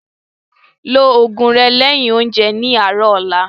Ló oògùn rẹ lẹ́yin oúnjẹ ní àárọ̀ ọ̀la